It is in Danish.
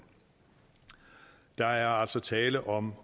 der er altså tale om